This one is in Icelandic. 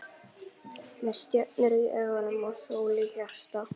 Með stjörnur í augum og sól í hjarta.